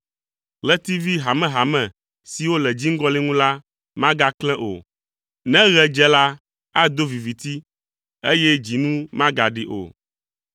Ɣletivi hamehame siwo le dziŋgɔli ŋu la magaklẽ o, ne ɣe dze la, ado viviti, eye dzinu magaɖi o.